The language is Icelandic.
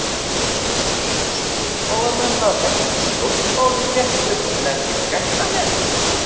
Eiga stjórnmálamenn að fjalla um stjórnmál í fréttum en ekki fréttamenn?